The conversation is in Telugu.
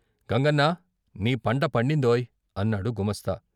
"గంగన్నా, నీ పంట పండిందోయ్ " అన్నాడు గుమాస్తా.